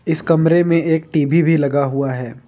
इस कमरे में एक टी_वी भी लगा हुआ है।